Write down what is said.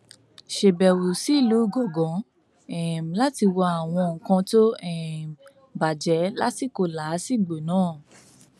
ṣàbẹwò sílùú igangan um láti wo àwọn nǹkan tó um bàjẹ lásìkò làásìgbò náà